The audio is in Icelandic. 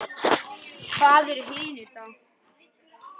Hvað eru hinir þá?